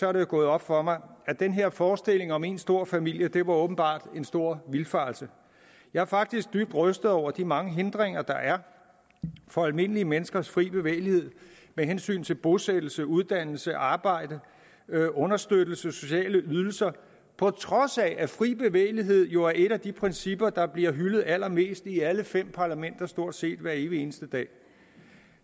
er det jo gået op for mig at den her forestilling om én stor familie åbenbart var en stor vildfarelse jeg er faktisk dybt rystet over de mange hindringer der er for almindelige menneskers fri bevægelighed med hensyn til bosættelse uddannelse arbejde understøttelse og sociale ydelser på trods af at fri bevægelighed jo er et af de principper der bliver hyldet allermest i alle fem parlamenter stort set hver evig eneste dag